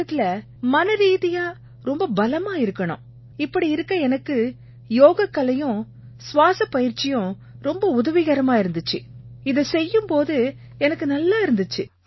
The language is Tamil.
இந்த நேரத்தில மனரீதியா ரொம்ப பலமா இருக்கணும் இப்படி இருக்க எனக்கு யோகக்கலையும் சுவாஸப் பயிற்சியும் ரொம்ப உதவிகரமா இருந்திச்சு இதைச் செய்யும் போது எனக்கு நல்லா இருந்திச்சு